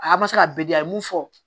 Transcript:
A ma se ka bɛɛ di a ye mun fɔ